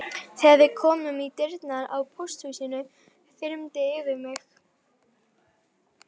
Þegar við komum í dyrnar á pósthúsinu þyrmdi yfir mig.